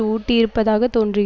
ஊட்டியிருப்பதாகத் தோன்றுகிறது